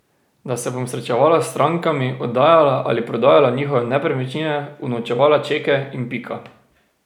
Da se bom srečevala s strankami, oddajala ali prodajala njihove nepremičnine, unovčevala čeke in pika.